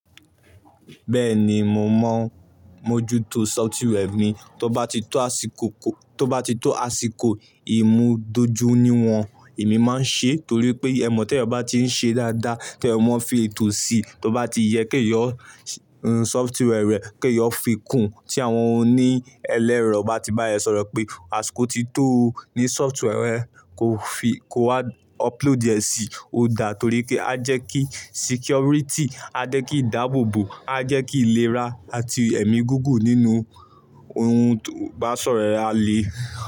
Bẹ́ẹ̀ni, mo mọ mójútó software mi tó bá ti tó àsìkò. Tí ó bá ti tó àsìkò ìmúdójúníwọn, èmi máa ń ṣe torí pé ẹ̀ mọ̀ tí èèyàn bá tí ń ṣe dáadáa kí èèyàn mọ fi ètò sí i. Tí ó bá ti yẹ kí èèyàn software rẹ, kí èèyàn fi kùn tí àwọn oní ẹlẹ́rọ bá ti bá ẹ sọ̀rọ̀ pé àsìkò ti tó ní software rẹ̀ kò fi kò wá upload è sí odà torí pé a jẹ́ kí security, a jẹ́ kí ìdáàbòbò, a jẹ́ kí ìlera àti ẹ̀mí gígùn nínú ohun tó bá sọ̀rọ̀ ẹ a lé.